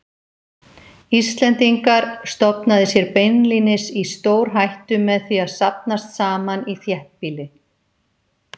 Íslendingar, stofnaði sér beinlínis í stórhættu með því að safnast saman í þéttbýli.